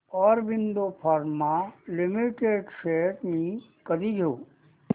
Aurobindo pharma limited shares मी कधी घेऊ